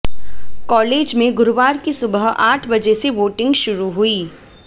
college में गुरुवार की सुबह आठ बजे से वोटिंग शुरू हुई